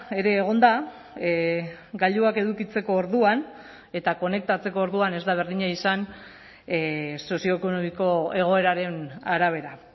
ere egon da gailuak edukitzeko orduan eta konektatzeko orduan ez da berdina izan sozioekonomiko egoeraren arabera